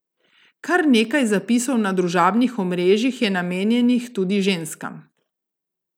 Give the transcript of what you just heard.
Kar nekaj zapisov na družabnih omrežjih je namenjenih tudi ženskam.